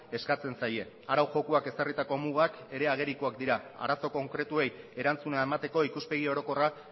eskatzen zaie arau jokoak ezarritako mugak ere agerikoak dira arazo konkretuei erantzuna emateko ikuspegi orokorra